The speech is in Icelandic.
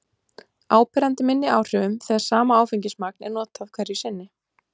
áberandi minni áhrifum þegar sama áfengismagn er notað hverju sinni